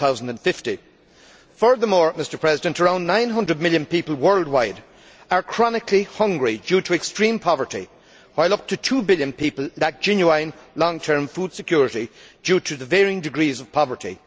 2050. Furthermore, around 900 million people worldwide are chronically hungry due to extreme poverty, while up to 2 billion people lack genuine long term food security due to varying degrees of poverty.